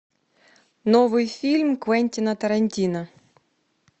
новый фильм квентина тарантино